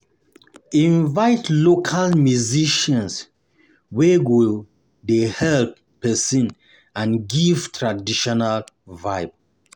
Invite local musicians wey go de hype persin and give traditional vibe